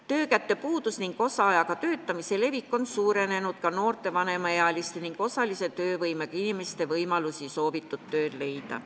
Töökäte puudus ning osaajaga töötamise levik on suurendanud ka noorte, vanemaealiste ning osalise töövõimega inimeste võimalusi soovitud tööd leida.